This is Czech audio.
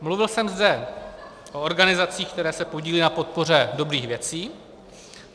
Mluvil jsem zde o organizacích, které se podílí na podpoře dobrých věcí.